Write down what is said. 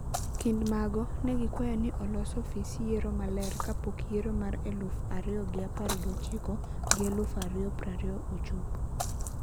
Kindmago, negikwayo ni olos ofis yiero maler kapok yiero mar elufu ariyo gi apar gi ochiko gi elufu ariyo prariyo chopo.